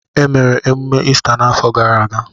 Emere emume Ista n'afọ gara aga.